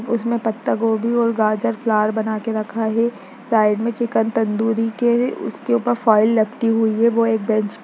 उसमें पत्ता गोभी और गाजर फ्लॉवर बना के रखा है साइड में चिकन तंदूरी के उसके ऊपर फॉइल लपटी हुई है वो एक बेंच --